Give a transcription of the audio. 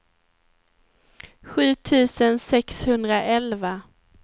sju tusen sexhundraelva